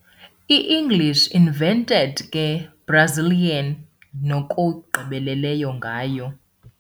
"I-English invented ke, Brazilians nokugqibeleleyo ngayo".